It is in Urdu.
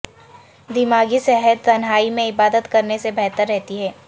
دماغی صحت تنہائی میں عبادت کرنے سے بہتر رہتی ہے